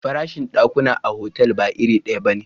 Farashin dakuna a otal ba iri daya bane.